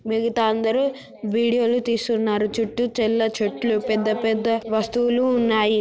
మిగతా అందరు వీడియోలు తీస్తున్నారు చుట్టూ తెల్ల చెట్లు పెద్ద పెద్ద వస్తువులు ఉన్నాయి.